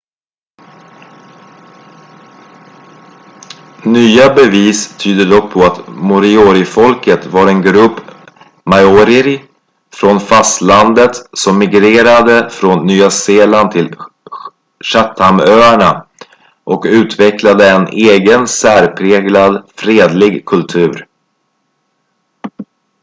nya bevis tyder dock på att moriorifolket var en grupp maorier från fastlandet som migrerade från nya zeeland till chathamöarna och utvecklade en egen särpräglad fredlig kultur